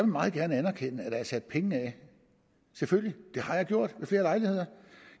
meget gerne anerkende at der er sat penge af selvfølgelig det har jeg gjort ved flere lejligheder